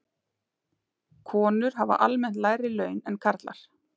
Konur hafa almennt lægri laun en karlar.